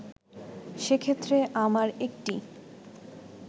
সেক্ষেত্রে আমার একটি